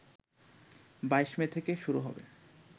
২২ May থেকে শুরু হবে